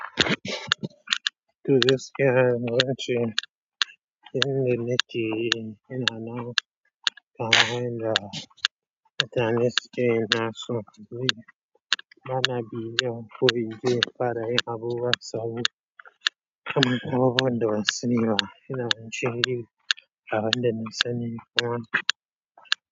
Nake yin innanan kamar yadda mutane suke yin nasu, ni bana bibiyan ko ince bana yon abubuwan tsawo kamar kowa wanda bai saniba, ina jin yi kamar wanda bai sani ba.